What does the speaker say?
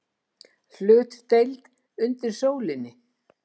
HLUTDEILD UNDIR SÓLINNI